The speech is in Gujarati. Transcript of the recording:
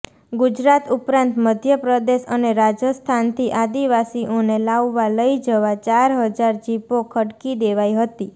ગુજરાત ઉપરાંત મધ્યપ્રદેશ અને રાજસ્થાનથી આદિવાસીઓને લાવવા લઇ જવા ચાર હજાર જીપો ખડકી દેવાઇ હતી